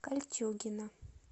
кольчугино